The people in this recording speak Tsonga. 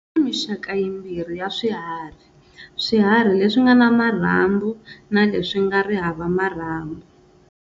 Kuna mixaka yimbirhi ya swiharhi-Swihanrhi leswingana marhambu, na leswinga hava marhambu.